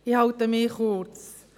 Ich halte mich kurz: